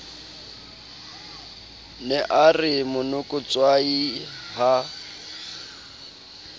ne a re monokotshwai ha